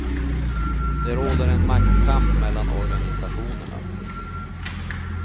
Det råder en maktkamp mellan organisationerna.